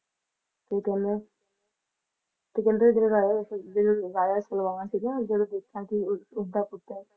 ਤੇ ਕਹਿੰਦੇ ਤੇ ਕਹਿੰਦੇ ਜਿਹੜੇ ਰਾਜਾ ਰਸ ਜਿਹੜਾ Raja Salaban ਸੀਗਾ ਜਦੋਂ ਦੇਖਿਆ ਕੇ ਉਸਦਾ ਪੁੱਤਰ